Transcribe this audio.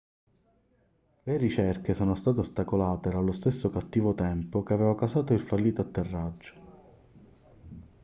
le ricerche sono state ostacolate dallo stesso cattivo tempo che aveva causato il fallito atterraggio